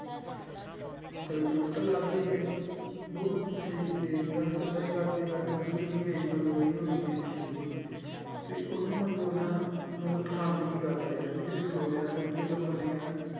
ਤੇ ਦੁੱਖ ਤਾਂ ਲੱਗਦਾ ਹੀ ਹੈ ਬਹੁਤ ਨਸ਼ੇ ਕੀਤੇ ਦੱਸ ਏਦਾਂ ਹੀ ਕਰਦੇ ਕਰਦੇ ਨੂੰ ਕਿੰਨੀ age ਮਤਲਬ ਉਹਦੀ ਗਈ ਹੈ ਨਸ਼ੇ ਦੀ ਤੇ ਉਹਨੂੰ ਮਤਲਬ ਨਾ ਮਤਲਬ ਪਸੰਦ ਕਰਦਾ ਰਿਹਾ, ਉਹਨੇ ਕਿਤੇ ਖਲੋ ਜਾਣਾ ਤੇ ਉਹਨੂੰ ਕਈ ਲੋਕਾਂ ਨੇ ਕਹਿਣਾ,